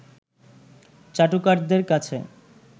চাটুকারদের কাছে